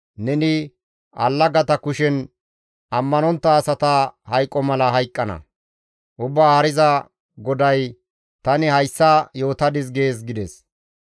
Neni allagata kushen ammanontta asata hayqo mala hayqqana; Ubbaa Haariza GODAY, ‹Tani hayssa yootadis› gees» gides.